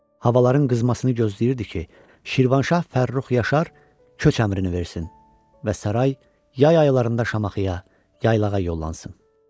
Havaların qızmasını gözləyirdi ki, Şirvanşah Fərrux Yaşar köç əmrini versin və saray yay aylarında Şamaxıya yaylağa yollansın.